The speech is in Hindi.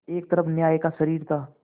एक तरफ न्याय का शरीर था